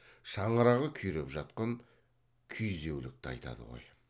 шаңырағы күйреп жатқан күйзеулікті айтады ғой